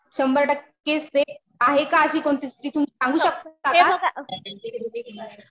शंभर टक्के सेफ आहे का अशी कोणती स्त्री? तुम्ही सांगू शकता का?